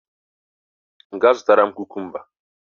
Gaa zụtara m kukumba!